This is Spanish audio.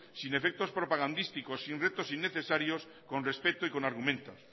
sin efectos propagandísticos sin retos innecesarios con respeto y con argumentos